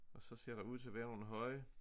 Og så ser der ud til at være nogle høje